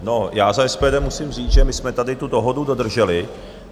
No, já za SPD musím říct, že my jsme tady tu dohodu dodrželi.